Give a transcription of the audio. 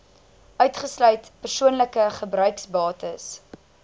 uitgesluit persoonlike gebruiksbates